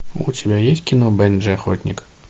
у тебя есть кино бенджи охотник